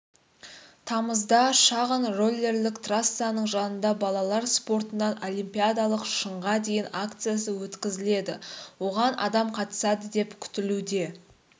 тамызда шаңғы-роллерлік трассаның жанында балалар спортынан олимпиадалық шыңға дейін акциясы өткізіледі оған адам қатысады деп күтілуде